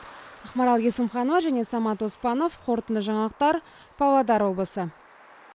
ақмарал есімханова және самат оспанов қорытынды жаңалықтар павлодар облысы